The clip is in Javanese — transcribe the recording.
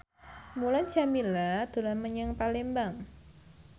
Mulan Jameela dolan menyang Palembang